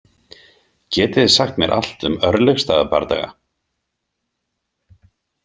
Getið þið sagt mér allt um Örlygsstaðabardaga?